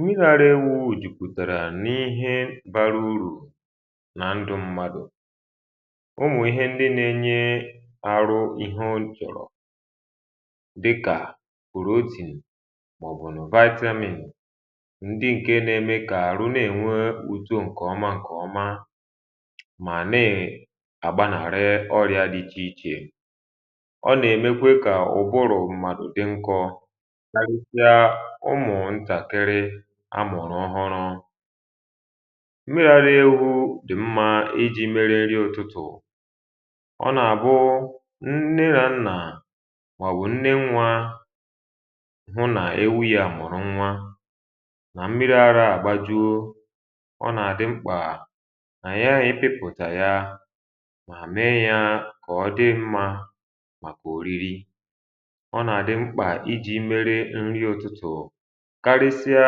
nghaghara ewùji pụ̀tàrà n’ihe bara urù nà ndu mmadù ụmụ̀ ihe ndi na-enye aru ihe nchọ̀rọ̀ dịkà kwùrù otì m̀bọ̀ um nùvayaetị amìmì ndi ǹke na-eme kà aru na-ènwe uto ǹkè ọma ǹkè ọma mà naė agbanarị ọrịȧ dị ichè ichè ọ na-emekwe kà ụbụrụ̀ mmadù dị nkọ ụmụ̀ ntàkiri amụ̀rụ̀ ọhụrụ mmiri ara ewu dì mmȧ iji merė nri ụ̀tụtụ̀ ọ nà-àbụ nne na nnà mà bù nne nwa hụ nà ewu ya mụ̀rụ nwa nà mmiri ara àgbajuo ọ nà-àdị mkpà nà ya ebipụ̀ta ya mà mee ya kà ọ dị mmȧ um màkà òriri ọ nà-àdị mkpà iji̇ mere nri ụtụtụ̀ karịsịa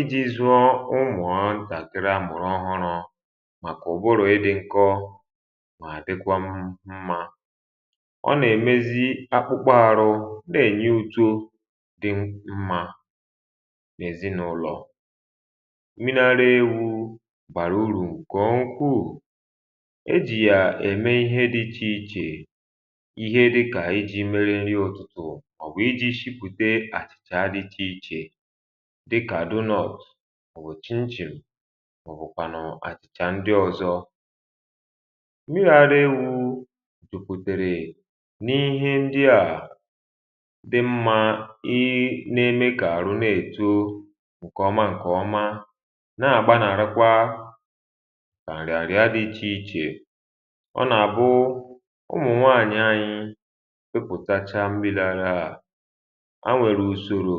iji̇ zụọ ụmụ̀ọ ntà kere amụ̀rụ̀ ọhụrụ̇ màkà ụ̀bụrụ̀ ịdị̇ nkọ mà dịkwa mmȧ ọ nà-èmezi akpụkpọ arụ̇ ndi enye utȯ dị mmȧ n’èzinàụlọ̀ mineral ewu̇ gbàrà urù ǹkèọ ukwuù e jì yà ème ihe dị̇ ichè ichè ihe dịkà iji̇ mere nrì ọ̀tụtụ, ọ̀bụ̀ iji̇ shipùte achìchà dịcha ichè um à wòchim jì mà ọ̀ bụ̀kwànụ̀ àchịchà ndị ọ̀zọ ǹbigharị enwu̇ jùpùtèrè n’ihe ndịà dị mmȧ ị nȧ-eme kà àrụ nà-èto ǹkè ọma ǹkè ọma nà-àgba nà-àlekwa àrị̀àrị̀a dị ichè ichè ọ nà-àbụ ụmụ̀ nwaànyị anyị wepụ̀tacha mmịla gị à màkà ọ̀ṅụṅụ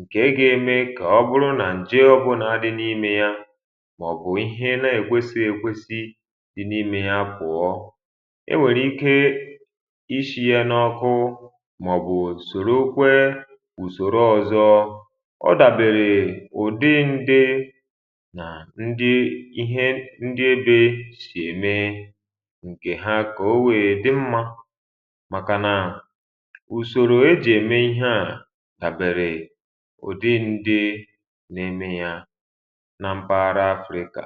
ǹkè egȯ eme kà ọ bụrụ nà ǹjė ọ̀bụna dị n’imė ya màọ̀bụ̀ ihe na-ègwesi èkwesi dị n’ime ya kwàọ e nwèrè ike ishi̇ ya n’ọkụ um màọ̀bụ̀ ùsòrokwe ùsòro ọ̀zọ ọ dàbèrè ụ̀dị ndi na ndi ihe ndi ebe sì ème ǹkè ha kà o wèè dị mmȧ dàbèrè ụdị ndị na-eme ya na mpaghara af rịka